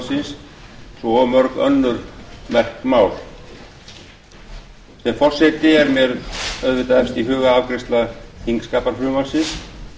svo og mörg önnur merk mál sem forseta er mér auðvitað efst í huga afgreiðsla þingskapafrumvarpsins